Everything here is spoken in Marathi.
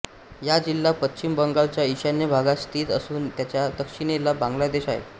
हा जिल्हा पश्चिम बंगालच्या ईशान्य भागात स्थित असून त्याच्या दक्षिणेला बांगलादेश आहे